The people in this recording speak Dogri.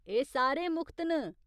एह् सारे मुख्त न।